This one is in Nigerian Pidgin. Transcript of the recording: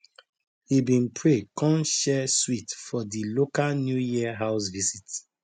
he been pray con share sweet for di local new year house visit